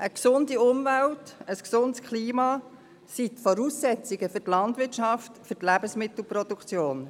Eine gesunde Umwelt, ein gesundes Klima sind die Voraussetzungen für die Landwirtschaft und die Lebensmittelproduktion.